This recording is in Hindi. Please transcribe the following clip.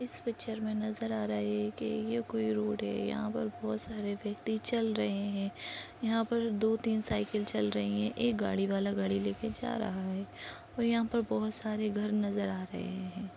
इस पिचर मे नजर आ रहा है कि ये कोई रोड है। यहा पर बहोत सारे व्यक्ति चल रहे है। यहा पर दो तीन सायकल चल रही है। एक गाड़ी वाला गाड़ी लेके जा रहा है और यहाँ पर बहोत सारे घर नजर आ रहे है।